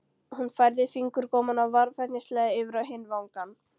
Hún færði fingurgómana varfærnislega yfir á hinn vangann.